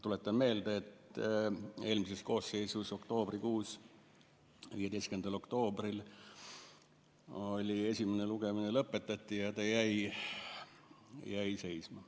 Tuletan meelde, et eelmises koosseisus oktoobrikuus, 15. oktoobril esimene lugemine lõpetati ja see eelnõu jäi seisma.